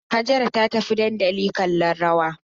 Hajara ta tafi dandali kallon rawa